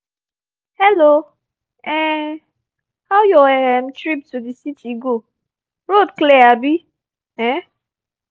hello um how your um trip to the city go? road clear abi? um